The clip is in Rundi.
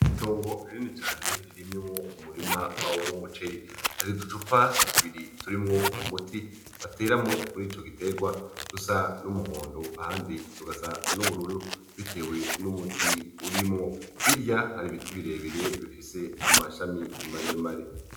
Itongo rinini cane ririmwo umurima w'umuceri, hari uducupa tubiri turimwo umuti bateramwo murico giterwa dusa n'umuhondo ahandi tugasa n'ubururu bitewe n'umuti urimwo, hirya hari ibiti birebire bifise amashami maremare.